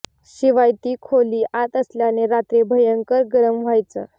शिवाय ती खोली आत असल्याने रात्री भयंकर गरम व्हायचं